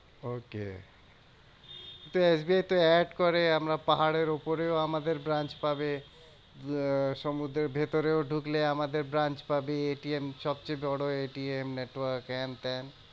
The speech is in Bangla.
Okay তো এস বি আই তো add করে আমরা পাহাড়ের উপরেও আমাদের branch পাবে। আহ সমুদ্রের ভেতরেও ঢুকলে আমাদের branch পাবি। সবচেয়ে বড় network হ্যান ত্যান